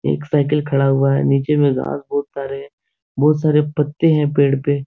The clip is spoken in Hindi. एक साइकिल खड़ा हुआ है। नीचे में घास बहुत सारे हैं। बहुत सारे पत्ते हैं पेड़ पे।